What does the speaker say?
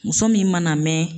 Muso min mana mɛn.